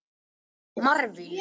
Marvin